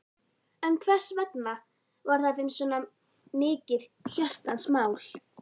En hversvegna var það þeim svo mikið hjartans mál?